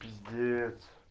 пиздец